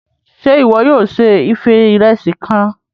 Ṣe iwọ yóò se ife Ìrẹsí kàn?